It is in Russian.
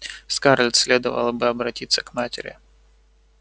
скарлетт следовало бы обратиться к матери